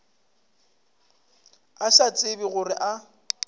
a sa tsebe gore a